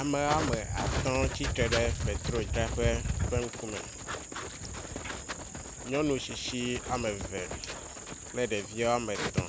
Ame ame atɔ tsitre ɖe petrodzraƒe ƒe ŋkume. Nyɔnu tsitsi ame eve kple ɖevi ame etɔ̃.